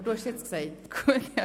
Aber Sie haben es jetzt gesagt.